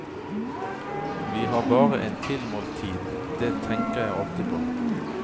Vi har bare en tilmålt tid, det tenker jeg alltid på.